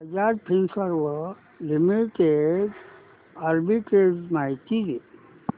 Bajaj Finserv limited arbitrage माहिती दे